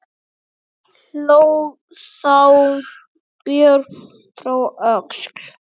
Hló þá Björn frá Öxl.